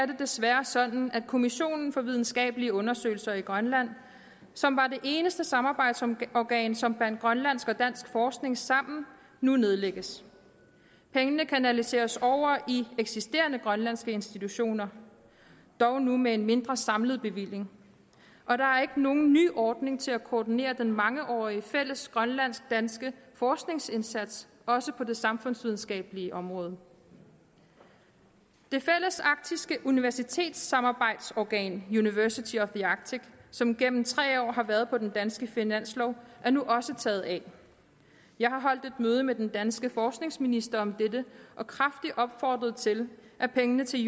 desværre sådan at kommissionen for videnskabelige undersøgelser i grønland som var det eneste samarbejdsorgan som bandt grønlandsk og dansk forskning sammen nu nedlægges pengene kanaliseres over i eksisterende grønlandske institutioner dog nu med en mindre samlet bevilling og der er ikke nogen ny ordning til at koordinere den mangeårige fælles grønlandsk danske forskningsindsats også på det samfundsvidenskabelige område det fællesarktiske universitetssamarbejdsorgan university of the arctic som gennem tre år har været på den danske finanslov er nu også taget af jeg har holdt et møde med den danske forskningsminister om dette og kraftigt opfordret til at pengene til